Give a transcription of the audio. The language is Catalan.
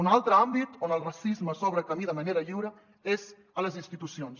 un altre àmbit on el racisme s’obre camí de manera lliure és a les institucions